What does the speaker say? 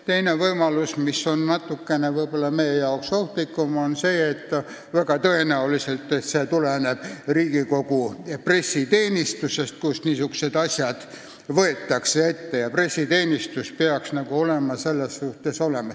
Teine võimalus, mis on meie jaoks võib-olla natukene ohtlikum, on see, et tõenäoliselt tulenes see uudis Riigikogu pressiteenistusest.